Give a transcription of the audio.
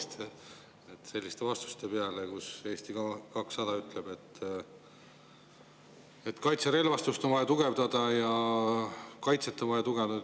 Tõepoolest, selliste vastuste peale, kus Eesti 200 ütleb, et kaitserelvastust on vaja tugevdada ja kaitset on vaja tugevdada.